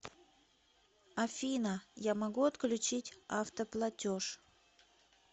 афина я могу отключить автоплатеж